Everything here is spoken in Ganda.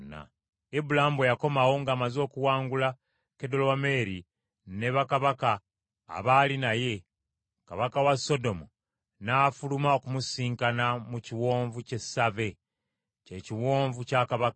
Ibulaamu bwe yakomawo ng’amaze okuwangula Kedolawomeeri ne bakabaka abaali naye, kabaka wa Sodomu n’afuluma okumusisinkana mu kiwonvu ky’e Save (kye kiwonvu kya kabaka).